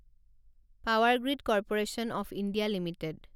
power Grid Corporation of India limited